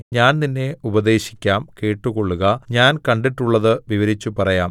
ഞാൻ നിന്നെ ഉപദേശിക്കാം കേട്ടുകൊള്ളുക ഞാൻ കണ്ടിട്ടുള്ളത് വിവരിച്ചുപറയാം